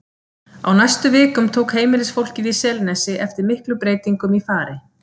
Á næstu vikum tók heimilisfólkið í Selnesi eftir miklum breytingum í fari